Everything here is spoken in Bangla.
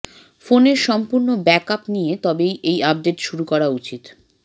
ফোনের সম্পূর্ণ ব্যাক আপ নিয়ে তবেই এই আপডেট শুরু করা উচিত